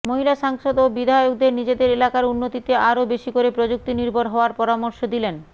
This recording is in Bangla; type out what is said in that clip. মহিলা সাংসদ ও বিধায়কদের নিজেদের এলাকার উন্নতিতে আরও বেশি করে প্রযুক্তিনির্ভর হওয়ার পরামর্শ দিলেন